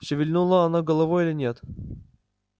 шевельнуло оно головой или нет